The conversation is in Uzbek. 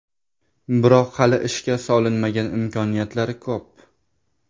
Biroq hali ishga solinmagan imkoniyatlar ko‘p.